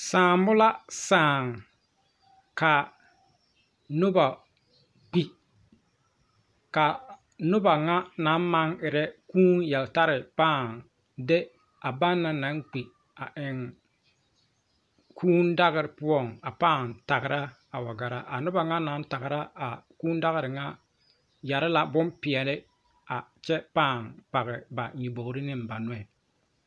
Saambo la saa ka noba kpi ka noba ŋa naŋ maŋ erɛ kūū yeltare pãã de a bana naŋ kpi a eŋ kűűdagre poɔ a pãã tagra a wa gara a noba ŋa naŋ tagra a kūū yɛre la bompeɛle a kyɛ pãã page ba nyʋbogri ne ba nɔɛ.